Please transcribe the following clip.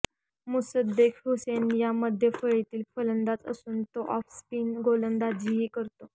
मुसद्देक हुसेन हा मध्यफळीतील फलंदाज असून तो ऑफस्पिन गोलंदाजीही करतो